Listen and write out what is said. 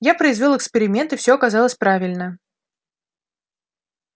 я произвёл эксперимент и всё оказалось правильно